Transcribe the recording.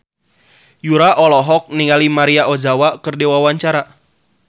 Yura olohok ningali Maria Ozawa keur diwawancara